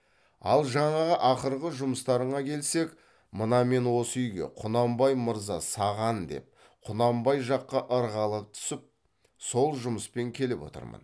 ал жаңағы ақырғы жұмыстарыңа келсек мына мен осы үйге құнанбай мырза саған деп құнанбай жаққа ырғала түсіп сол жұмыспен келіп отырмын